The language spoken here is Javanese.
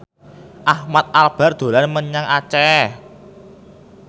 Ahmad Albar dolan menyang Aceh